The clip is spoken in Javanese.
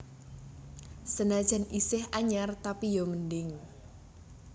Senajan iseh anyar tapi yo mending